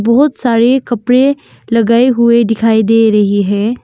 बहुत सारे कपड़े लगाए हुए दिखाई दे रही है।